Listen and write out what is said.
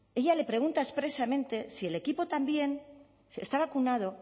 ella le pregunta expresamente si el equipo también está vacunado